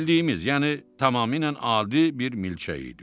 Bildiyimiz, yəni tamamilə adi bir milçək idi o.